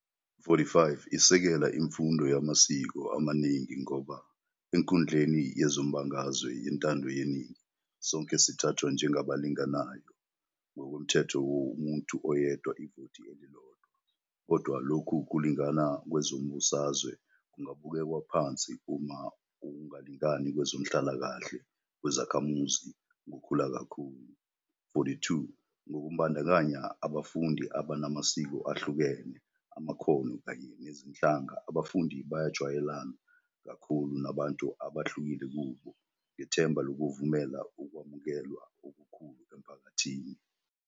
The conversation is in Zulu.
45 Isekela imfundo yamasiko amaningi ngoba "enkundleni yezombangazwe yentando yeningi, sonke sithathwa njengabalinganayo, ngokomthetho womuntu oyedwa, ivoti elilodwa, kodwa lokhu kulingana kwezombusazwe kungabukelwa phansi uma ukungalingani kwezenhlalakahle kwezakhamuzi kukhula kakhulu". 42 Ngokubandakanya abafundi abanamasiko ahlukene, amakhono, kanye nezinhlanga abafundi bajwayelana kakhulu nabantu abahlukile kubo, ngethemba lokuvumela ukwamukelwa okukhulu emphakathini.